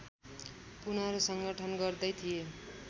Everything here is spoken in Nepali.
पुनर्संगठन गर्दै थिए